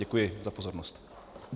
Děkuji za pozornost.